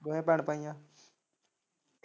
ਦੋਵੇਂ ਭੈਣ ਭਾਈ ਆ।